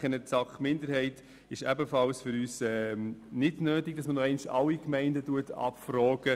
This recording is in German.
Was die Planungserklärung 7 der SAK-Minderheit anbelangt, finden wir es ebenfalls unnötig, nochmals bei allen Gemeinden nachzufragen.